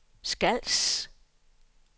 Skals